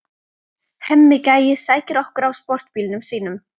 Hemmi gæi sækir okkur á sportbílnum sínum.